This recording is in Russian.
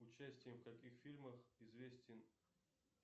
участием в каких фильмах известен